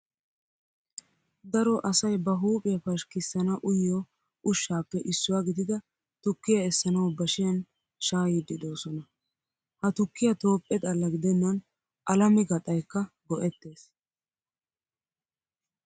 Daro asay ba huuphphiyaa pashkkissana uyiyoo ushshatuppe issuwaa gidida tukkiyaa essanawu bashiyan shaayyiddi doosona. Ha tukkiyaa Toophphe xalla gidennan alame gaxaa yikka go''ettes.